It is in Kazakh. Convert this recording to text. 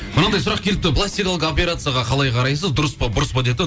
мынандай сұрақ келіпті пластикалық операцияға қалай қарайсыз дұрыс па бұрыс па депті